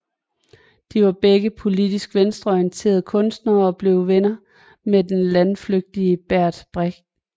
De var begge politisk venstreorienterede kunstnere og blev venner med den landflygtige Bert Brecht